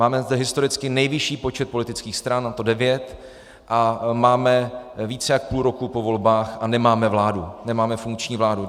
Máme zde historicky nejvyšší počet politických stran, a to devět, a máme více než půl roku po volbách a nemáme vládu, nemáme funkční vládu.